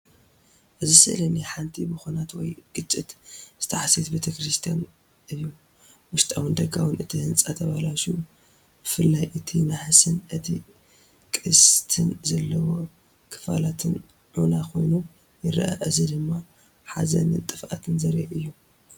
እዚ ስእሊ ናይ ሓንቲ ብኲናት ወይ ግጭት ዝተሃስየት ቤተ ክርስቲያን እዩ። ውሽጣውን ደጋውን እቲ ህንጻ ተበላሽዩ። ብፍላይ እቲ ናሕስን እቲ ቅስትን ዘለዎ ክፋላትን ዑና ኮይኑ ይረአ። እዚ ድማ ሓዘንን ጥፍኣትን ዘርኢ እዩ።